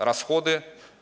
расходы